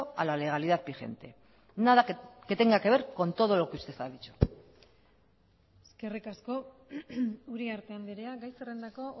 a la legalidad vigente nada que tenga que ver con todo lo que usted ha dicho eskerrik asko uriarte andrea gai zerrendako